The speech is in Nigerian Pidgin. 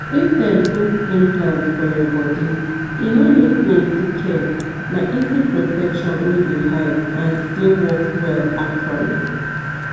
if dem put implant for your body e no need plenty care na easy protection wey dey hide and still work well actually